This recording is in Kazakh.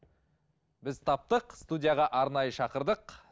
біз таптық студияға арнайы шақырдық